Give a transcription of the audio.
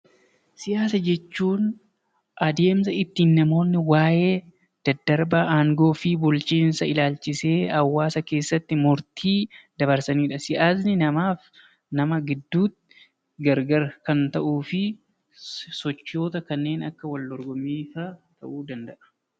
Siyaasa jechuun adeemsa ittiin namoonni waa'ee daddarba aangoo fi bulchiinsaa ilaalchisee hawwaasa keessatti murtii dabarsanidha. Siyaasa namaaf nama gidduutti gar gar kan ta’uufi sochoota akka wal dorgommii fa'a ta'uu ni danda’a.